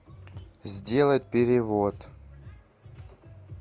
сделать перевод